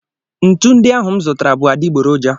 Ntu ndị ahụ m zụtara bụ adịgboroja.